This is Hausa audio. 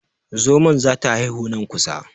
Zomon za ta haihu nan kusa.